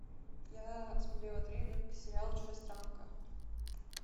я смотрела трейлер к сериалу чужестранка